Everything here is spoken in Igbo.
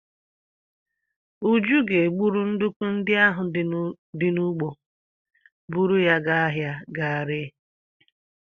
Uju ga-egburu nduku ndị ahụ di n'ugbo, buru ya gaa ahịa ga ree ha.